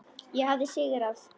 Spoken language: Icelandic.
Ég hafði sigrað.